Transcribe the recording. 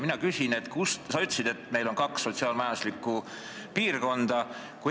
Sa ütlesid, et meil on kaks sotsiaal-majanduslikku piirkonda.